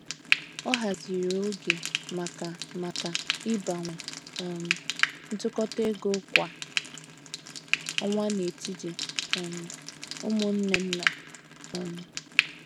Ọ haziri oge maka maka ịgbanwe um ntụkọta égo kwa ọnwa n'etiti um umunne nna. um